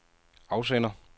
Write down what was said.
afsender